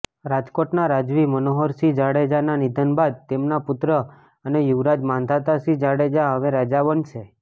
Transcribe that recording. રાજકોટના રાજવી મનોહરસિંહ જાડેજાના નિધન બાદ તેમના પુત્ર અને યુવરાજ માંધાતાસિંહ જાડેજા હવે રાજા બનશે